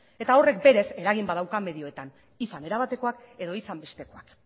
eta horrek berez eragin badauka medioetan izan era batekoak edo izan bestekoak